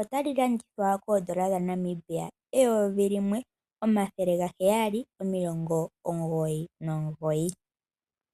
ota li landithwa koondola dhaNamibia eyovi limwe, omathele gaheyali omilongo omugoyi nomugoyi.